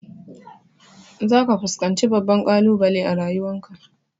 Za ka fuskanci babban ƙalubale a rayuwan ka